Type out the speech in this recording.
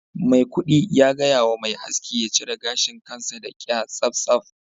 maikudu ya gaya wa mai aski ya cire gashin kansa da kya tsaftsaf